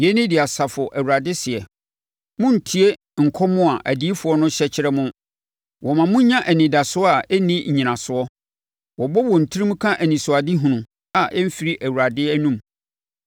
Yei ne deɛ Asafo Awurade seɛ: “Monntie nkɔm a adiyifoɔ no hyɛ kyerɛ mo; wɔma mo nya anidasoɔ a ɛnni nnyinasoɔ. Wɔbɔ wɔn tirim ka anisoadehunu, a ɛmfiri Awurade anom.